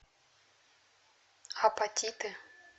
апатиты